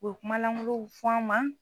U bɛ kuma langolow fɔ an ma.